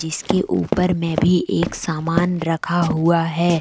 इसके ऊपर मैं भी एक सामान रखा हुआ है।